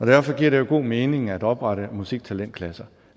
derfor giver det jo god mening at oprette musiktalentklasser